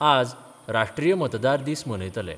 आज राष्ट्रीय मतदार दीस मनयतले.